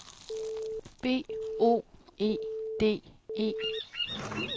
B O E D E